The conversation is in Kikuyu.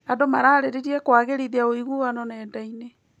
Andũ mararĩrĩria kũagĩrithia ũiguano nenda-inĩ.